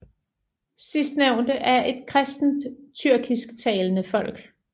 Sidstnævnte er et kristent tyrkisktalende folk